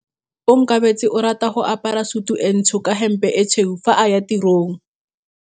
Onkabetse o rata go apara sutu e ntsho ka hempe e tshweu fa a ya tirong.